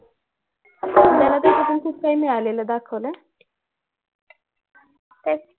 त्याला त्यामधून खूप काही मिळालेलं दाखवलंय